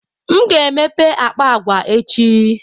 M ga-emepe akpa agwa echi.